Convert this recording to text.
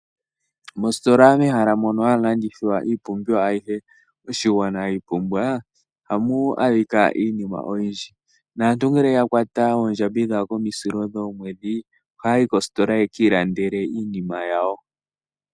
Mositola mehala moka hamu longithwa iipumbiwa ayihe mbyoka ya pumbiwa koshigwana ohamu adhika iinima oyindji naantu ngele ya kwata oondjambi dhawo komwedhi ohaa yuli koositola yekiilandele iinima yawo.